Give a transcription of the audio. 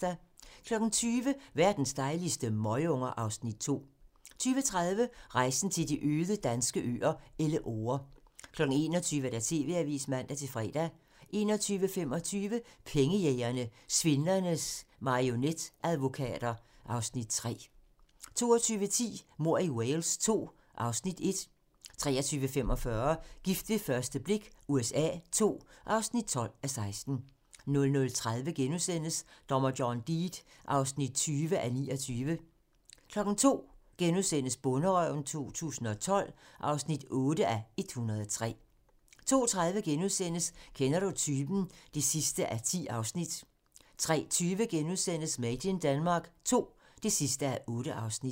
20:00: Verdens dejligste møgunger (Afs. 2) 20:30: Rejsen til de øde danske øer - Elleore 21:00: TV-avisen (man-fre) 21:25: Pengejægerne - Svindlernes marionetadvokater (Afs. 3) 22:10: Mord i Wales II (Afs. 1) 23:45: Gift ved første blik USA II (12:16) 00:30: Dommer John Deed (20:29)* 02:00: Bonderøven 2012 (8:103)* 02:30: Kender du typen? (10:10)* 03:20: Made in Denmark II (8:8)*